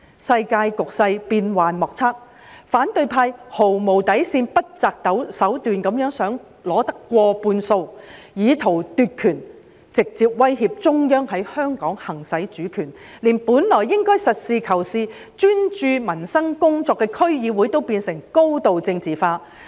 世界局勢變幻莫測，反對派毫無底線、不擇手段的想取得過半數，以圖奪權，直接威脅中央在香港行使主權，連本來應該實事求是、專注民生工作的區議會也變成高度政治化。